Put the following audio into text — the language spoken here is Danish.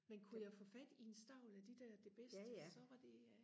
men kunne jeg få fat i en stavl af de der det bedste så var det øh